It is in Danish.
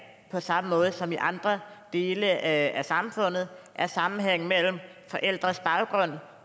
på samme måde som i andre dele af samfundet er sammenhæng mellem forældres baggrund